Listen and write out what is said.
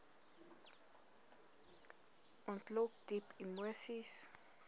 ontlok diep emoseis